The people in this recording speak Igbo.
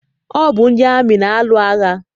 Ọ bụ ndị amị na-alụ agha.